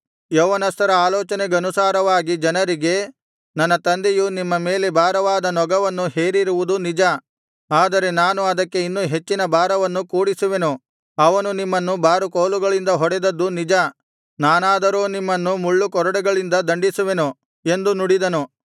ಯೌವನಸ್ಥರ ಆಲೋಚನೆಗನುಸಾರವಾಗಿ ಜನರಿಗೆ ನನ್ನ ತಂದೆಯು ನಿಮ್ಮ ಮೇಲೆ ಭಾರವಾದ ನೊಗವನ್ನೂ ಹೇರಿರುವದು ನಿಜ ಆದರೆ ನಾನು ಅದಕ್ಕೆ ಇನ್ನೂ ಹೆಚ್ಚಿನ ಭಾರವನ್ನು ಕೂಡಿಸುವೆನು ಅವನು ನಿಮ್ಮನ್ನು ಬಾರುಕೋಲುಗಳಿಂದ ಹೊಡೆದದ್ದು ನಿಜ ನಾನಾದರೋ ನಿಮ್ಮನ್ನು ಮುಳ್ಳುಕೊರಡೆಗಳಿಂದ ದಂಡಿಸುವೆನು ಎಂದು ನುಡಿದನು